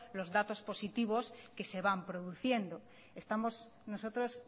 los datos positivos que se van produciendo estamos nosotros